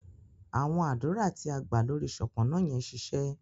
awọn adura ti a gbadura lórí Sopona yen ṣiṣẹ